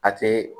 A tɛ